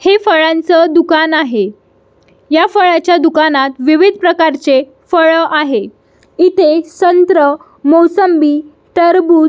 हे फळांच दुकान आहे ह्या फळाच्या दुकानात विविध प्रकारचे फळ आहे इथे संत्र मोसंबी टरबूज--